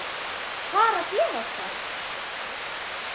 Hvað er að gerast þar?